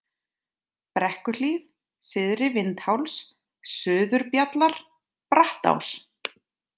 Brekkuhlíð, Syðri-Vindháls, Suðurbjallar, Brattás